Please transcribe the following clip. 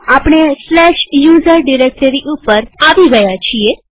હા આપણે usr directory ઉપર આવી ગયા છીએ